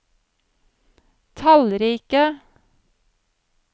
tallrike